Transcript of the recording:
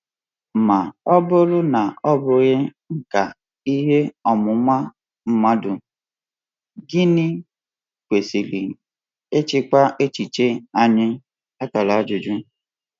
Ma ọ bụrụ na ọ bụghị nkà ihe ọmụma mmadụ, gịnị um kwesịrị ịchịkwa echiche anyị?